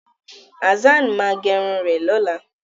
Hazzan máa gẹrun rẹ̀ lọ́la.